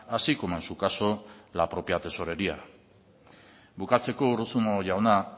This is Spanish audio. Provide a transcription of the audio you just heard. así como en su caso la propia tesorería bukatzeko urruzuno jauna